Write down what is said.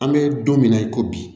An bɛ don min na i ko bi